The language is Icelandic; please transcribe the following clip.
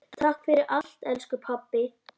Takk fyrir allt elsku pabbi.